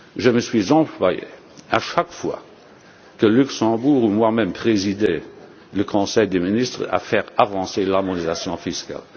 me suis employé, à chaque fois que le Luxembourg ou que moi même présidais le Conseil des ministres, à faire avancer l'harmonisation fiscale.